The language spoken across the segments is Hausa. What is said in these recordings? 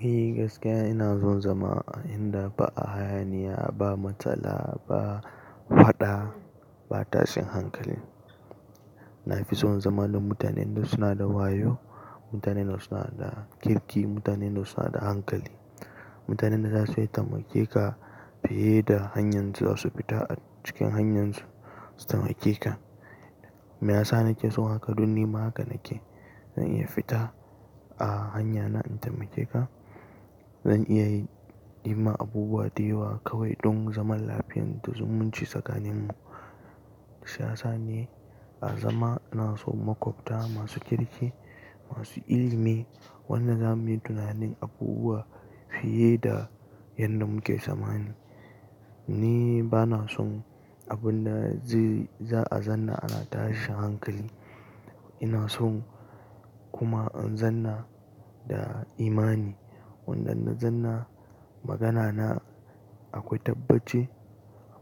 Ni gaskiya ina son zama a inda ba hayaniya, ba matsala, ba faɗa, ba tashin hankali. Na fi son zama da mutanen da suna da wayo, mutanen da suna da kirki, mutanen da suna da hankali, mutanen da za su iya taimake ka fiye da hanyar su da su fita a cikin hanyar su su taimake ka. Me yasa nake son haka? Don ni ma haka nake, zan iya fita a hanya na in taimake ka. Zan iya yi ni ma abubuwa, dayawa kawai don zaman lafiyar da zumunci tsakaninmu. Siyasa ne, a zama ina so makwabta masu kirki, masu ilimi, wannan za mu yi tunanin abubuwa fiye da yadda muke samani. Ni ba na son abin da za a zanna ana tashi hankali. Ina son kuma in zanna da imani, wannan na zanna magana na akwai tabbace,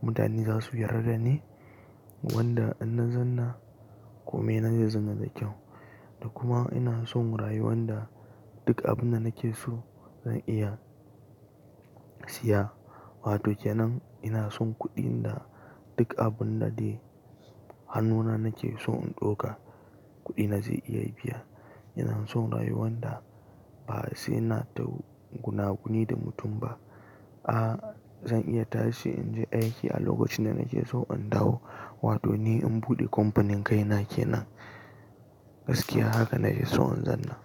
mutane za su yarda ne, wanda in na zanna kome nan da zanna da kyau. Da kuma ina son rayuwan da duk abin da nake so zan iya siya, wato kenan ina son kuɗin da duk abin da dai hannuna nake so in ɗauka, kuɗi na zai iya biya. Ina son rayuwan da ba sai na ta gunaguni da mutum ba. A zan iya tashi in je aiki a lokacin da nake so in dawo. Wato ni in buɗe kamfanin kaina kenan, gaskiya haka nake so in zanna.